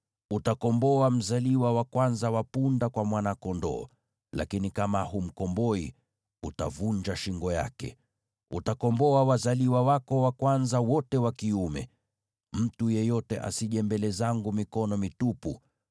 Utakomboa mzaliwa wa kwanza wa punda kwa mwana-kondoo, lakini kama humkomboi, utavunja shingo yake. Utakomboa wazaliwa wako wa kwanza wote wa kiume. “Mtu yeyote asije mbele zangu mikono mitupu.